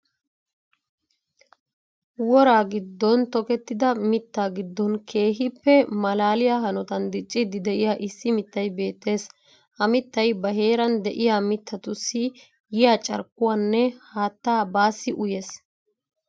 Woraa giddon tokettida mittaa giddon keehippe malaaliya hanotan dicciiddi de'iya issi mittay beettees. Ha mittay ba heeran de'iya mittatussi yiya carikkuwaanne haattaa baassi uyyees.